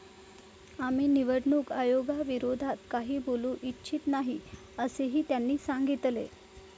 आम्ही निवडणूक आयोगाविरोधात काही बोलू इच्छित नाही, असेही त्यांनी सांगितले.